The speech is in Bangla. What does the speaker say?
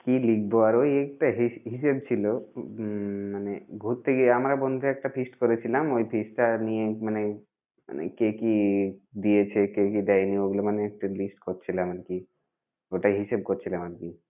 কি লিখব আর ওই একটা হিস~ হিসেব ছিল উম মানে ঘুরতে গিয়ে আমরা বন্ধুরা একটা feast করেছিলাম ওই feast টা নিয়ে মানে মানে কে কি দিয়েছে কে কি দেয়নি ওইগুলো মানে একটা list করছিলাম আর কি। ওটাই হিসেব করছিলাম আর কি।